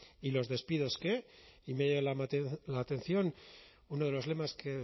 y los despidos qué y me ha llamado la atención uno de los lemas que